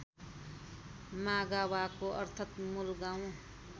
मागावाको अर्थ मुलगाउँ